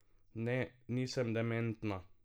Ne, nisem dementna.